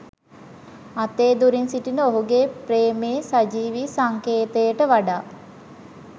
අතේ දුරින් සිටින ඔහුගේ ප්‍රේමයේ සජීවී සංකේතයට වඩා